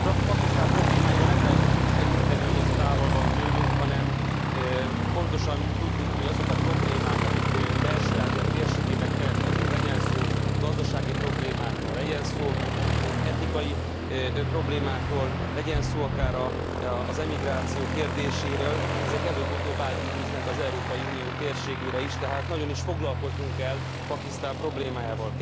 Pakisztán problémáira nem lehet úgy tekinteni, hogy az távol van tőlünk, hanem pontosan tudjuk, hogy azok a problémák, amik Belső Ázsia térségben keletkeznek, legyen szó gazdasági problémákról, legyen szó etnikai problémákról, legyen szó akár az emigráció kérdéséről, ezek előbb utóbb átgyűrűznek az Európai Unió térségére is, tehát nagyon is foglalkoznunk kell Pakisztán problémájával.